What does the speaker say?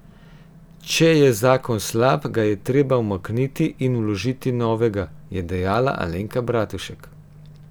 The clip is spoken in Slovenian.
Če je zakon slab, ga je treba umakniti in vložiti novega, je dejala Alenka Bratušek.